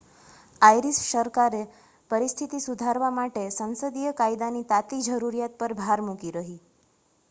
Irish સરકારે પરિસ્થિતિ સુધારવા માટે સંસદીય કાયદાની તાતી જરૂરિયાત પર ભાર મૂકી રહી